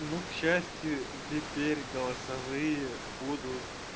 ну к счастью теперь голосовые будут